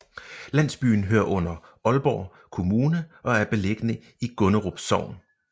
Landsbyen hører under Aalborg Kommune og er beliggende i Gunderup Sogn